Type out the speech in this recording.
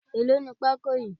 Èlò ní pako yìí?